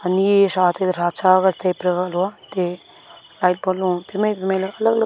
anI e sha thakha cha taI te liat bol lu alag alag.